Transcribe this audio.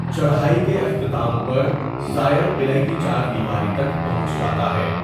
چڑھائی کے اختتام پر، زائر قلعہ کی چار دیواری تک پہنچ جاتا ہے۔